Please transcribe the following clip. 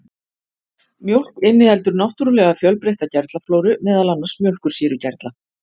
Mjólk inniheldur náttúrulega fjölbreytta gerlaflóru, meðal annars mjólkursýrugerla.